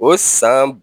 O san